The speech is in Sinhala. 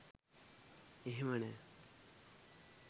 එහෙම නෑ.